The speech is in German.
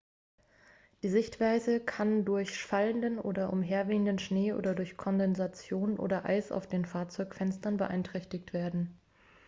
die sichtweite kann auch durch fallenden oder umherwehenden schnee oder durch kondensation oder eis auf den fahrzeugfenstern beeinträchtigt werden.x